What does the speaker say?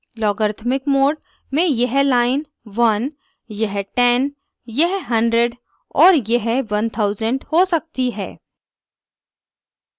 logarithmic mode में यह line 1 यह 10 यह 100 और यह 1000 हो सकती है